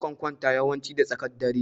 Na kan kwanta yawanci da tsakar dare.